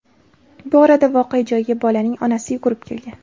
Bu orada voqea joyiga bolaning onasi yugurib kelgan.